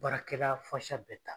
Baarakɛla bɛ ta